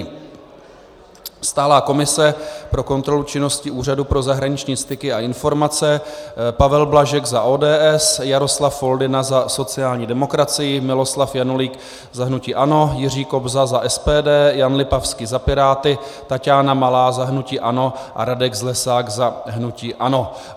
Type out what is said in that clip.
Stálá komise pro kontrolu činnosti Úřadu pro zahraniční styky a informace - Pavel Blažek za ODS, Jaroslav Foldyna za sociální demokracii, Miloslav Janulík za hnutí ANO, Jiří Kobza za SPD, Jan Lipavský za Piráty, Taťána Malá za hnutí ANO a Radek Zlesák za hnutí ANO.